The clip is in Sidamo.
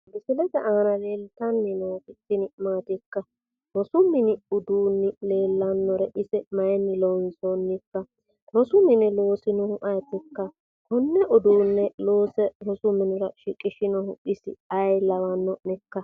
misile aana leeltanni nooti tini maatikka? rosu mini uduunni leellannore isi maayiinni loonsoonnikka? rosu mine loosinohu ayeetikka? konne uduunne loose rosu minira shiqishinohu isi ayee lawanno'nekka?